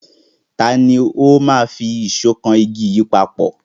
Tani ó máa fi ìṣọ́ kan àwọn igi yẹn papọ̀?